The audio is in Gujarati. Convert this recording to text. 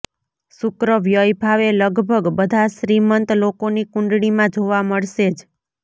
શુક્ર વ્યય ભાવે લગભગ બધા શ્રીમંત લોકોની કુંડળીમાં જોવા મળશે જ